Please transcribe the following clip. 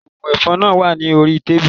Oògùn ẹ̀fọn náà wà ní orí tábìlì